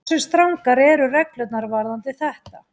Hversu strangar eru reglurnar varðandi þetta?